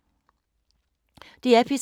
DR P3